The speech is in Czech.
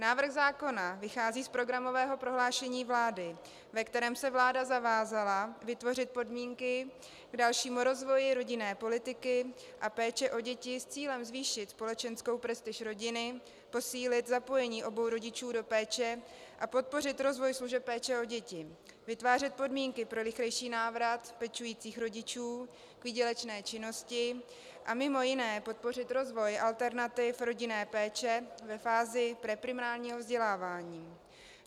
Návrh zákona vychází z programového prohlášení vlády, ve kterém se vláda zavázala vytvořit podmínky k dalšímu rozvoji rodinné politiky a péče o děti s cílem zvýšit společenskou prestiž rodiny, posílit zapojení obou rodičů do péče a podpořit rozvoj služeb péče o děti, vytvářet podmínky pro rychlejší návrat pečujících rodičů k výdělečné činnosti a mimo jiné podpořit rozvoj alternativ rodinné péče ve fázi preprimárního vzdělávání.